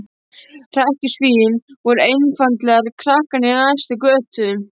Hrekkjusvín voru einfaldlega krakkarnir í næst næstu götu.